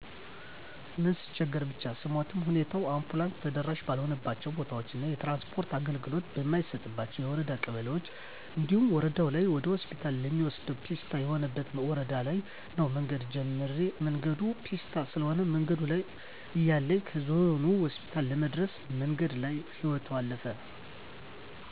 ምን ስትቸገር ብቻ ስሞትም ሁኔታው አንቡላንስ ተደራሺ ባልሆነባቸው ቦታዎች እና የትራንስፖርት አገልግሎት በማይሰጥባቸው የወረዳ ቀበሌዎች እንዲሁም ወረደው ላይ ወደሆስፒታል ለመውሰድ ፔስታ የሆነበት ወረዳ ለይ ነው መንገድ ጀምራ መንገዱ ፔስታ ስለሆነ መንገድ ላይ እያለይ ከዞኑ ሆስፒታል ለመድረስ መንገድ ላይ ህይወቶ አለፈ።